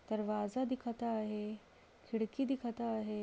दरवाजा दिखता है खिड़की दिखता है।